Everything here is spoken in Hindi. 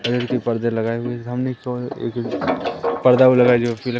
कलर के पर्दे लगाए हुए हैं पर्दा भी लगाया जो पीला--